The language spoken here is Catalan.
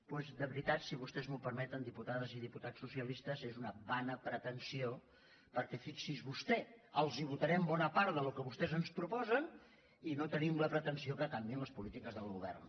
doncs de veritat si vostès m’ho permeten diputades i diputats socialistes és una vana pretensió perquè fixi’s vostè els votarem bona part del que vostès ens proposen i no tenim la pretensió que canviïn les políti·ques del govern